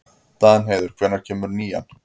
Danheiður, hvenær kemur nían?